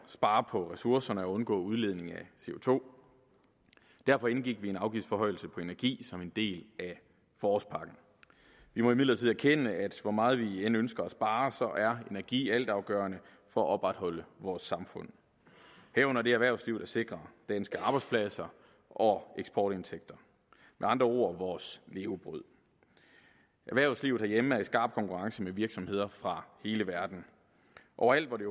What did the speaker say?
spare på ressourcerne og undgå udledning af co derfor indgik vi en afgiftsforhøjelse på energi som en del af forårspakken vi må imidlertid erkende at hvor meget vi end ønsker at spare er energi altafgørende for at opretholde vores samfund herunder det erhvervsliv der sikrer danske arbejdspladser og eksportindtægter med andre ord vores levebrød erhvervslivet herhjemme er i skarp konkurrence med virksomheder fra hele verden overalt hvor det